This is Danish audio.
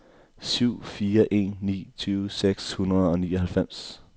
syv fire en ni tyve seks hundrede og nioghalvfems